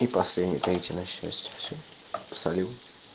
и последний третий на счастье все посолю